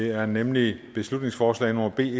er nemlig beslutningsforslag nummer b